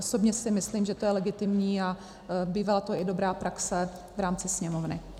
Osobně si myslím, že to je legitimní a bývá to i dobrá praxe v rámci Sněmovny.